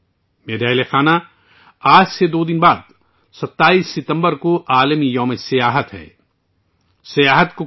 میرے پیارے اہلِ خانہ، اب سے دو دن بعد، 27 ستمبر کو سیاحت کا عالمی دن ہے